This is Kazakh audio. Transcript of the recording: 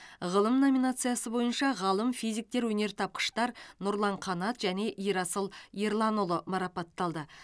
ғылым номинациясы бойынша ғалым физиктер өнертапқыштар нұрлан қанат және ерасыл ерланұлы марапатталды